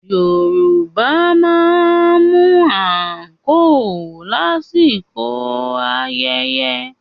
Yorùbá máa ń mú àǹkóò lásìkò ayẹyẹ